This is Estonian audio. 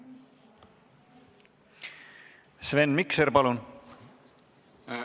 Sven Mikser, palun!